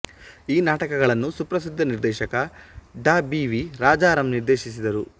ಈ ನಾಟಕಗಳನ್ನು ಸುಪ್ರಸಿದ್ಧ ನಿರ್ದೇಶಕ ಡಾ ಬಿ ವಿ ರಾಜಾರಾಂ ನಿರ್ದೆಶಿಸಿದರು